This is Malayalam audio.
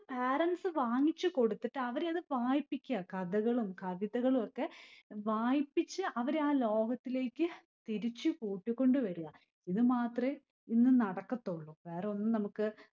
parents സ്സ് വാങ്ങിച്ചു കൊടുത്തിട്ട് അവരെ അത് വായിപ്പിക്യ. കഥകളും കവിതകളും ഒക്കെ വായിപ്പിച്ചു അവരെ ആ ലോകത്തിലേക്ക് തിരിച്ചു കൂട്ടികൊണ്ട് വര്യാ. ഇത് മാത്രമേ ഇന്ന് നടക്കത്തൊള്ളൂ. വേറെ ഒന്നും നമ്മുക്ക്